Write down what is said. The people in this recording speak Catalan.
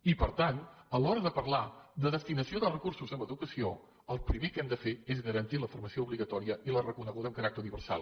i per tant a l’hora de parlar de destinació de recursos en educació el primer que hem de fer és garantir la formació obligatòria i la reconeguda amb caràcter universal